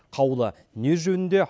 қаулы не жөнінде